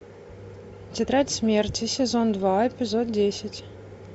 тетрадь смерти сезон два эпизод десять